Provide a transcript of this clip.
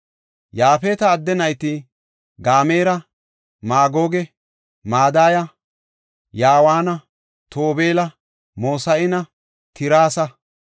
Yaafeta adde nayti Gamera, Maagoge, Madaya, Yawaana, Tobeela, Mosahanne Tirasa.